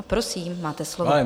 A prosím, máte slovo.